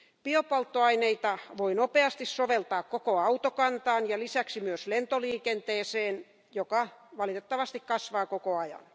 Biopolttoaineita voi nopeasti soveltaa koko autokantaan ja lisäksi myös lentoliikenteeseen, joka valitettavasti kasvaa koko ajan.